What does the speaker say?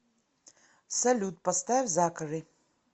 салют поставь закари